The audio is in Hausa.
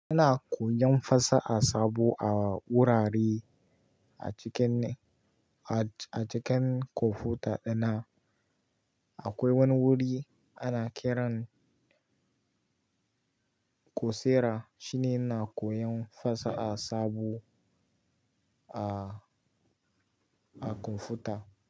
Ina koyan fasaha sabo a wurare a cikin ne, a cikin kwamfuta ɗin nan. Akwai wani wuri ana kiran Coursera shine ina koyan fasaha sabo a, a kwamfuta.